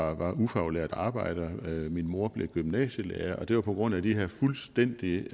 var ufaglært arbejder min mor blev gymnasielærer og det var på grund af de her fuldstændig